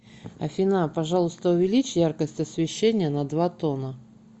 афина пожалуйста увеличь яркость освещения на два тона